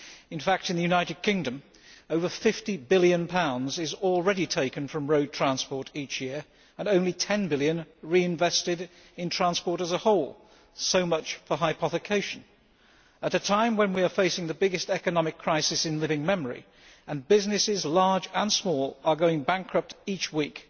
In the United Kingdom, over GBP 50 billion is already taken from road transport each year and only GBP 10 billion reinvested in transport as a whole. So much for hypothecation. At a time when we are facing the biggest economic crisis in living memory, and businesses, large and small, are going bankrupt each week,